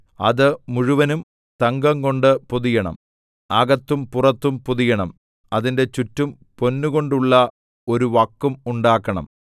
അത് മുഴുവനും തങ്കംകൊണ്ട് പൊതിയണം അകത്തും പുറത്തും പൊതിയണം അതിന്റെ ചുറ്റും പൊന്നുകൊണ്ടുള്ള ഒരു വക്കും ഉണ്ടാക്കണം